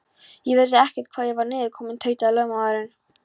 Ég vissi ekkert hvar ég var niðurkominn, tautaði lögmaðurinn.